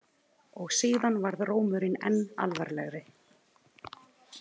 Og síðan varð rómurinn enn alvarlegri.